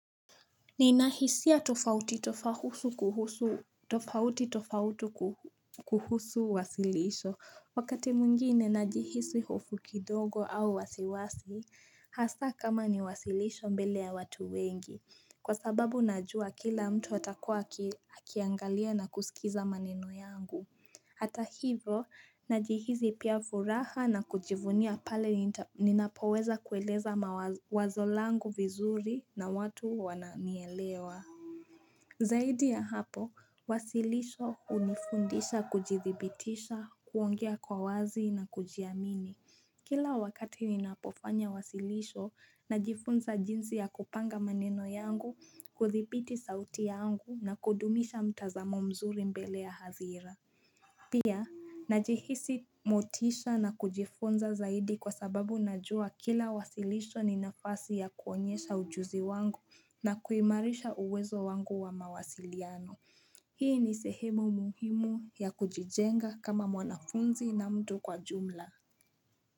Nina hisia tofauti tofauti kuhusu wasilisho Wakati mwingine najihisi hofu kidogo au wasiwasi Hasaa kama ni wasilisho mbele ya watu wengi Kwa sababu najua kila mtu atakua akiangalia na kusikiza maneno yangu Hata hivyo, najihisi pia furaha na kujivunia pale ninapoweza kueleza mawazo wazo langu vizuri na watu wananielewa Zaidi ya hapo, wasilisho hunifundisha kujithibitisha, kuongea kwa wazi na kujiamini Kila wakati ninapofanya wasilisho, najifunza jinsi ya kupanga maneno yangu, kuthibiti sauti yangu na kudumisha mtazamo mzuri mbele ya hadhira Pia, najihisi motisha na kujifunza zaidi kwa sababu najua kila wasilisho ni nafasi ya kuonyesha ujuzi wangu na kuimarisha uwezo wangu wa mawasiliano. Hii ni sehemu muhimu ya kujijenga kama mwanafunzi na mtu kwa jumla.